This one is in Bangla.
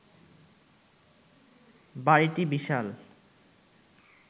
বাড়িটি বিশাল